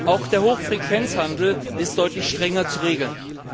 Auch der Hochfrequenzhandel ist deutlich strenger zu regeln.